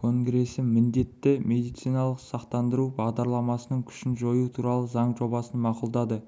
конгресі міндетті медициналық сақтандыру бағдарламасының күшін жою туралы заң жобасын мақұлдады